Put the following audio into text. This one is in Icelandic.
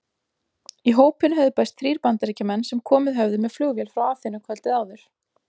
Í hópinn höfðu bæst þrír Bandaríkjamenn sem komið höfðu með flugvél frá Aþenu kvöldið áður.